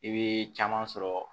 I bɛ caman sɔrɔ